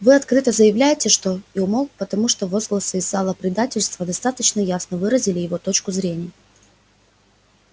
вы открыто заявляете что и умолк потому что возгласы из зала предательство достаточно ясно выразили его точку зрения